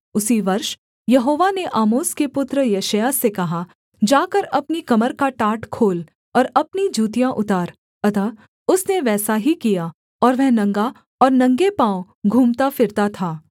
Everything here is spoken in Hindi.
उसी वर्ष यहोवा ने आमोस के पुत्र यशायाह से कहा जाकर अपनी कमर का टाट खोल और अपनी जूतियाँ उतार अतः उसने वैसा ही किया और वह नंगा और नंगे पाँव घूमता फिरता था